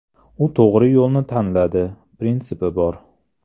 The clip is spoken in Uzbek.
U to‘g‘ri yo‘lni tanlaydi, prinsipi bor.